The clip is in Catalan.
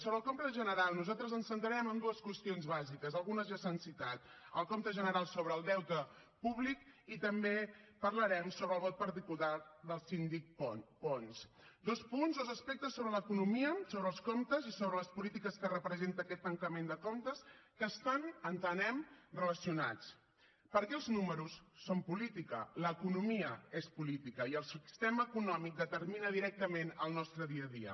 sobre el compte general nosaltres ens centrarem en dues qüestions bàsiques algunes ja s’han citat el compte general sobre el deute públic i també parlarem sobre el vot particular del síndic pons dos punts dos aspectes sobre l’economia sobre els comptes i sobre les polítiques que representa aquest tancament de comptes que estan entenem relacionats perquè els números són política l’economia és política i el sistema econòmic determina directament el nostre dia a dia